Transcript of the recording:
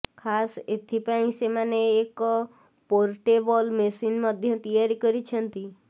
ଖାସ ଏଥିପାଇଁ ସେମାନେ ଏକ ପୋର୍ଟେବଲ ମେସିନ ମଧ୍ୟ ତିଆରି କରିଛନ୍ତି